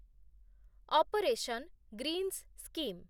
operation greens scheme